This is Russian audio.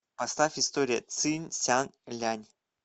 поставь история цинь сян лянь